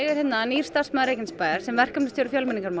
er nýr starfsmaður Reykjanesbæjar sem verkefnastjóri